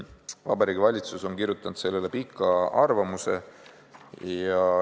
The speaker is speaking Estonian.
Vabariigi Valitsus on kirjutanud selle kohta pika arvamuse.